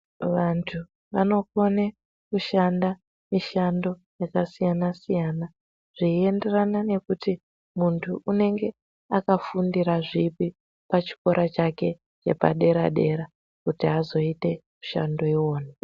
Vantu vanokone kushanda mishando yakasiyana siyana zveienderana nekuti muntu anenge akafundira zvipi pachikora chake chepadera dera kuti azoita mushando iwona.